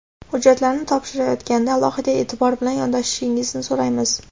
Hujjatlarni topshirayotganda alohida eʼtibor bilan yondoshishingizni so‘raymiz.